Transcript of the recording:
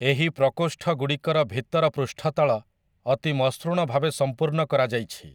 ଏହି ପ୍ରକୋଷ୍ଠଗୁଡ଼ିକର ଭିତର ପୃଷ୍ଠତଳ ଅତି ମସୃଣ ଭାବେ ସମ୍ପୂର୍ଣ୍ଣ କରାଯାଇଛି ।